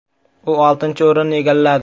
U oltinchi o‘rinni egalladi.